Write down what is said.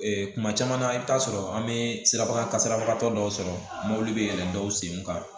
kuma caman na i bi t'a sɔrɔ an bɛ siraba kasarabagatɔ dɔw sɔrɔ mobili bɛ yɛlɛn dɔw senw kan